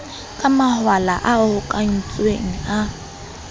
ka mawala a hokahantsweng a